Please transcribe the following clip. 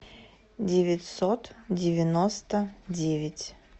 девятьсот девяносто девять